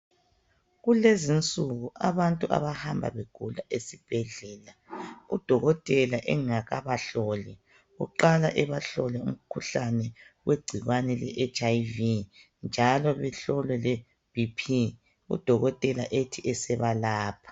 Kulezinsuku abantu abahamba begula esibhedlela, udokotela engakabahloli uqala ebahlole umkhuhlane wegcikwane leHIV njalo behlolwe leBP udokotela ethi esebalapha.